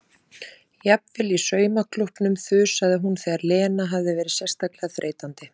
Jafnvel í saumaklúbbnum þusaði hún þegar Lena hafði verið sérstaklega þreytandi.